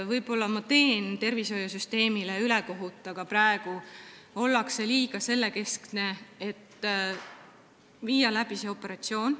Võib-olla teen ma tervishoiusüsteemile ülekohut, kuid praegu ollakse liiga selle keskne, et tehakse operatsioone.